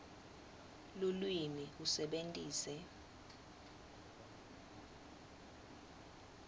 lulwimi usebentise